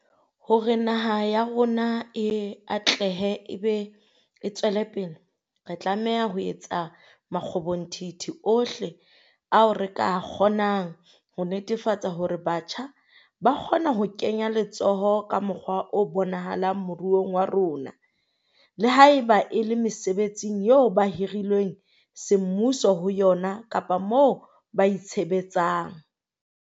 Hore naha ya rona e atlehe e be e tswelepele, re tlameha ho etsa makgobonthithi ohle ao re ka a kgonang ho netefatsa hore batjha ba kgona ho kenya letsoho ka mokgwa o bonahalang moruong wa rona, le haeba e le mesebetsing eo ba hirilweng semmuso ho yona kapa moo ba itshebetsang.